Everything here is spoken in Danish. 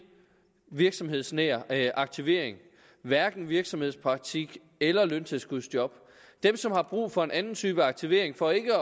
virksomhedsnær aktivering hverken virksomhedspraktik eller løntilskudsjob dem som har brug for en anden type aktivering for ikke